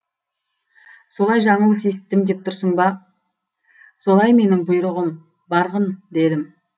солай жаңылыс есіттім деп тұрсың ба солай менің бұйрығым барғын дедім